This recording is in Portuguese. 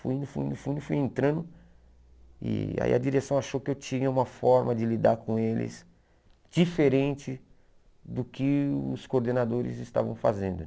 Fui indo, fui indo, fui indo, fui entrando e aí a direção achou que eu tinha uma forma de lidar com eles diferente do que os coordenadores estavam fazendo,